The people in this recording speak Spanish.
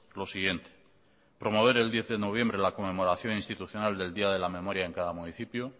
lo siguiente promover el diez de noviembre la conmemoración institucional del día de la memoria en cada municipio